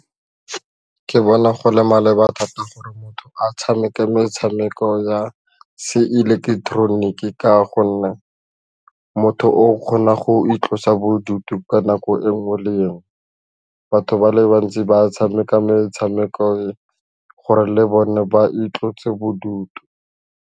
Ke bona go lema le ba thata gore motho a tshameke metshameko ya seileketeroniki ka gonne motho o kgona go go itlosa bodutu ka nako e nngwe le nngwe batho ba le bantsi ba tshameka metshameko gore le bone ba itlotse bodutu.